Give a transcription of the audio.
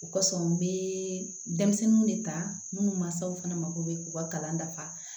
O kɔsɔn n bɛ denmisɛnninw de ta minnu mansaw fana mako bɛ u ka kalan dafa